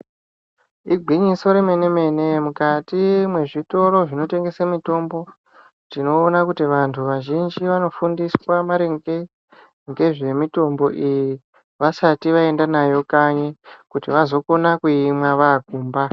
Igwinyiso romene mene mukati mezvitoro zvinotengesa mitombo, tinoona kuti vantu vazhinji vanofundiswa maringe ngezvemutombo iyi vasati vaenda nayo paye kuti vazogone kuimwa vaakumba.